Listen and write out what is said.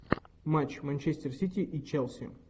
матч манчестер сити и челси